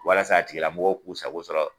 Walasa a tigi lamɔgɔw k'u sago sɔrɔ.